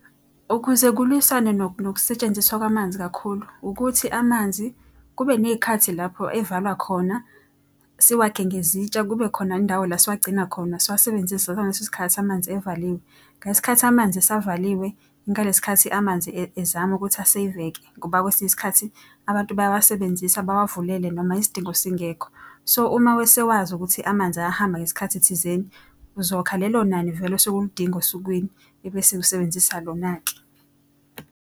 Ukuze kulwisane nokusetshenziswa kwamanzi kakhulu ukuthi amanzi kube ney'khathi lapho evalwa khona. Siwakhe ngezitsha kube khona indawo la siwagcina khona siwasebenzise ngaleso sikhathi amanzi evaliwe. Ngalesi sikhathi amanzi esavaliwe ingalesi sikhathi amanzi ezama ukuthi aseyveke. Ngoba kwesinye isikhathi abantu bayawasebenzisa bawavulele noma isidingo singekho. So, uma wesewazi ukuthi amanzi ayahamba ngesikhathi thizeni, uzokha lelo nani vele osuke uludinga osukwini ebese usebenzisa lona-ke.